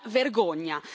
Una vergogna!